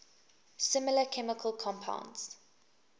similar chemical compounds